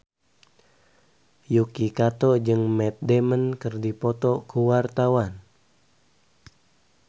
Yuki Kato jeung Matt Damon keur dipoto ku wartawan